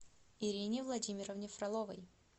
ирине владимировне фроловой